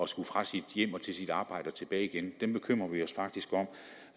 skulle fra sit hjem og til sit arbejde og tilbage igen dem bekymrer vi os faktisk om